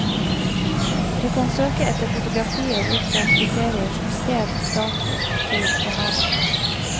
Du kan søke etter fotografier ut fra kriterier som sted, dato, motiv og navn.